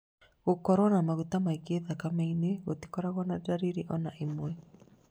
Gũkorwo na maguta maingĩ thakame-inĩ gũtikoragwo na ndariri ona ĩmwe